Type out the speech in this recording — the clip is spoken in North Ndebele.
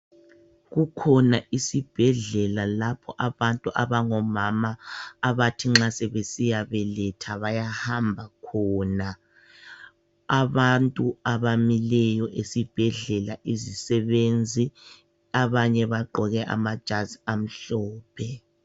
Kukhona isibhedlela lapho abantu abangomama abathi nxa sebesiyabeletha bayahamba khona. Abantu abamileyo esibhedlela izisebenzi abanye bagqoke amajazi amhlophe.